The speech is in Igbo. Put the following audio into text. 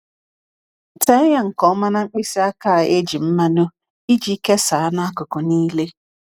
Tee ya nke ọma na mkpịsị aka e ji mmanụ iji kesaa n’akụkụ niile.